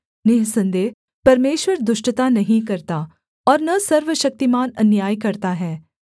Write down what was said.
निःसन्देह परमेश्वर दुष्टता नहीं करता और न सर्वशक्तिमान अन्याय करता है